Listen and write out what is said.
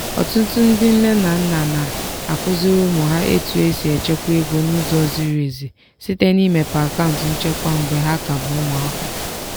ọtụtụ ndị nne na nna na-akụziri ụmụ ha etu esi echekwa ego n'ụzọ ziri ezi site n'imepe akaụntụ nchekwa mgbe ha ka bụ ụmụaka